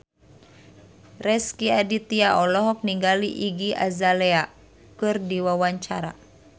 Rezky Aditya olohok ningali Iggy Azalea keur diwawancara